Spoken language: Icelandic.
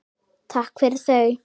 Takk fyrir þau.